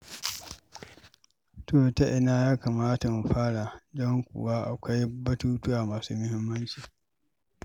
To, ta ina ya kamata mu fara, don kuwa akwai batutuwa masu muhimmanci.